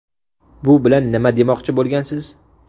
Bu bilan nima demoqchi bo‘lgansiz?